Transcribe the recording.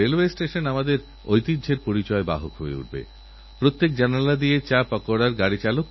এটাতোআপনারা সকলেই জানেন আমাদের মোবাইল ফোনে ইমেইলে কখনও কখনও খুব লোভনীয় মেসেজ আসে আপনি এত টাকার পুরস্কার জিতেছেন